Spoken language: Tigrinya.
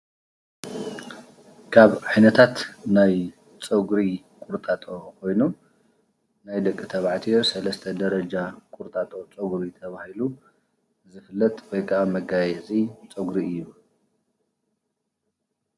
ካብ ዓይነታት ናይ ፀጉሪ ቁርጣጦ ኮይኑ ናይ ደቂ ተብዓትዮ ሰለሰተ ደረጃ ቁርጣጦ ፀጉሪ ተባሂሉ ዝፍለጥ ወይ ከዓ መገያየፂ ፀጉሪ እዩ::